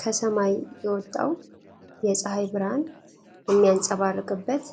ከሰማይ የወጣው የፀሐይ ብርሃን የሚያንፀባርቅበት